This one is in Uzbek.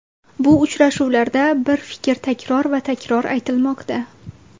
Bu uchrashuvlarda bir fikr takror va takror aytilmoqda.